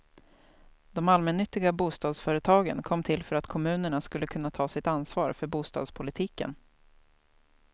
De allmännyttiga bostadsföretagen kom till för att kommunerna skulle kunna ta sitt ansvar för bostadspolitiken.